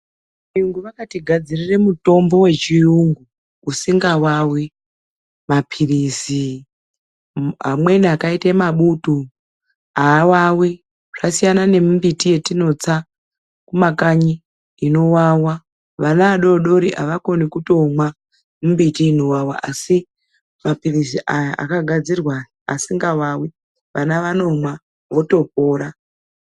Vayungu vakatinasirire mutombo wechiyungu usikawawi. Maphirizi amweni akaite mabutu, awawi. Zvasiyana nemimbiti yetinotsa mumakanyi inowawa. Vana vadori dori avakoni kuimwa mimbiti inowawa asi maphirizi aya akadzirwa aya asingawawi, vana vanomwa votopora.